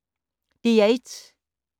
DR1